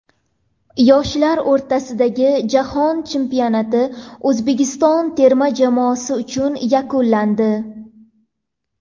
Yoshlar o‘rtasidagi Jahon chempionati O‘zbekiston terma jamoasi uchun yakunlandi .